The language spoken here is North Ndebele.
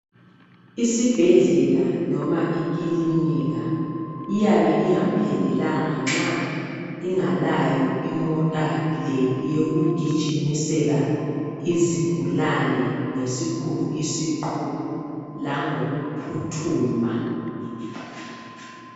Isibhedlela noma ikilinika iyabe ingaphelelanga nxa ingalayo imota le yokugijiimisela izigulane ngesikhulu isiqubu langokuphuthuma .